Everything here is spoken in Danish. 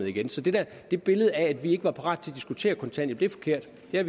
igen så det det billede af at vi ikke var parate til at diskutere kontanthjælp er forkert vi har